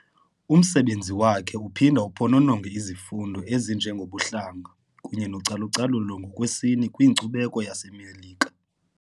Umsebenzi wakhe uphinda uphonononge izifundo ezinjengobuhlanga kunye nocalucalulo ngokwesini kwinkcubeko yaseMelika.